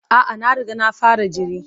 A'a, na riga na fara jiri.